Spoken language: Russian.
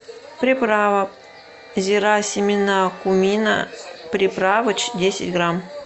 приправа зира семена кумина приправыч десять грамм